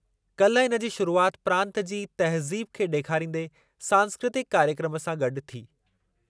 काल्ह इनजी शुरुआति प्रांतु जी तहज़ीब खे ॾेखारींदे सांस्कृतिकु कार्यक्रमु सां गॾु थी।